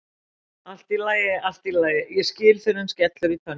Allt í lagi, allt í lagi, ég skil fyrr en skellur í tönnum.